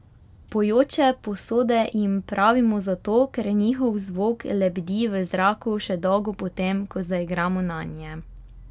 Pojoče posode jim pravimo zato, ker njihov zvok lebdi v zraku še dolgo po tem, ko zaigramo nanje.